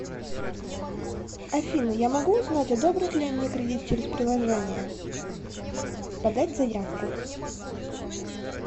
афина я могу узнать одобрят ли мне кредит через приложение подать заявку